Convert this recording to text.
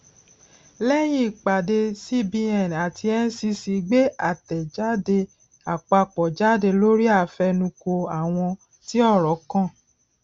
lẹyìn ìpàdé cbn àti ncc gbé àtẹjáde àpapọ jáde lórí àfẹnukò àwọn tí ọrọ kàn